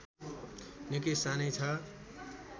निकै सानै छ